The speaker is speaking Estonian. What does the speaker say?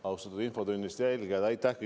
Austatud infotunni jälgijad!